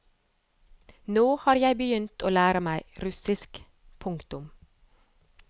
Nå har jeg begynt å lære meg russisk. punktum